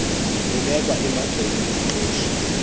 lubekwa emagxeni omqeshi